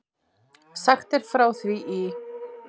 Sagt er frá því í